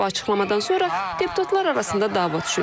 Bu açıqlamadan sonra deputatlar arasında dava düşüb.